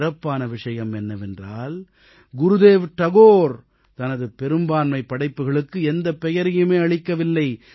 சிறப்பான விஷயம் என்னவென்றால் குருதேவ் தாகூர் தனது பெரும்பான்மைப் படைப்புக்களுக்கு எந்தப் பெயரையும் அளிக்கவில்லை